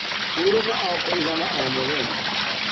Hũrũka o kũĩgana ohmũthenya